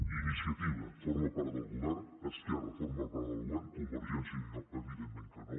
iniciativa forma part del govern esquerra forma part del govern convergència i unió evidentment que no